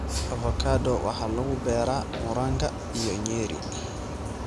Avocado waxa lagu beeraa Murang'a iyo Nyeri.